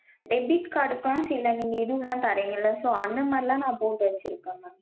debit card க்கும் சில நீங்க இதுலாம் தரிங்கள so அந்த மாதிரிலாம் நா போட்டு வச்சிருக்கேன் mam